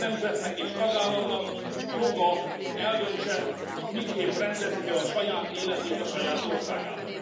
Minden nemzetnek és tagállamnak joga, hogy eldöntse, miképp rendezi be a saját életét a saját országában.